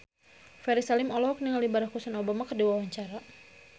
Ferry Salim olohok ningali Barack Hussein Obama keur diwawancara